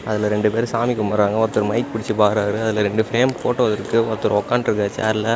அதுல ரெண்டு பேரு சாமி கும்பட்றாங்க ஒருத்தர் மைக் புடிச்சு பாடுறாரு அதுல ரெண்டு பிரேம் போட்டோ இருக்கு ஒருத்தர் உக்காண்ட்ருக்காரு சேர்ல .